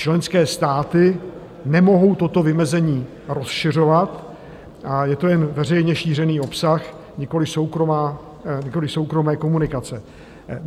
Členské státy nemohou toto vymezení rozšiřovat a je to jen veřejně šířený obsah, nikoliv soukromé komunikace.